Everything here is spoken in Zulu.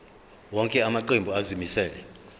wonke amaqembu azimisela